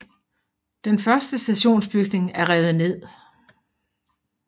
Den første stationsbygning er revet ned